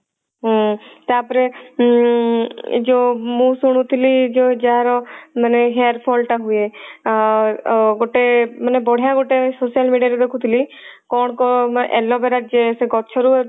ହୁଁ ତାପରେ ଉଁ ଯଉ ମୁଁ ଶୁଣୁଥିଲି ଯଉ ଯାହାର ମାନେ hair fall ଟା ହୁଏ ଆ ଗୋଟେ ମାନେ ବଢିଆ ଗୋଟେ social media ରେ ଦେଖୁଥିଲି କଣ କଣ aloe vera gel ସେ ଗଛ ରୁ